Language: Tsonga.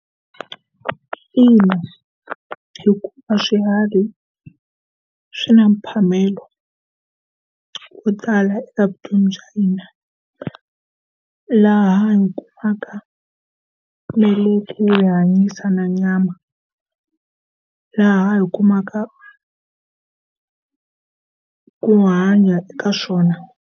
Ina, hikuva swiharhi swi na mphamelo wo tala evuton'wini bya hina. Laha hi kumaka meleke yo hi hanyisana nyama, laha hi kumaka ku hanya eka swona.